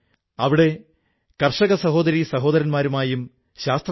അദ്ദേഹം ആളുകളുടെ മുടി ഒരുക്കുന്നതിനൊപ്പം അവർക്ക് ജീവിതത്തിന് പൊലിമ കൂട്ടാനും അവസരമൊരുക്കുന്നു